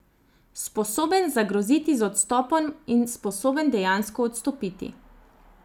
Sposoben zagroziti z odstopom in sposoben dejansko odstopiti.